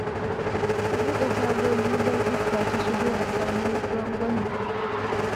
Ku buɗe tagogi don iska ta shigo a samu rangwame